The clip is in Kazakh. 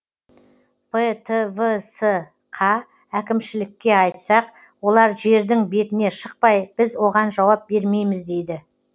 птвс қа әкімшілікке айтсақ олар жердің бетіне шықпай біз оған жауап бермейміз дейді